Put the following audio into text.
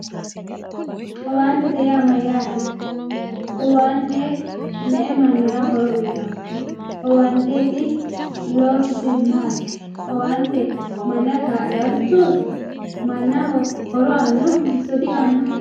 owaantete yaa mayaate owaante me"u mannira horo uyiitayo owaanteeti loosise maati owante manna ka'laarichooti mannaho horo aannohonso di"aanoho